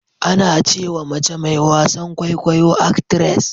Ana ce wa mace mai wasan Kwaikwayo "actress".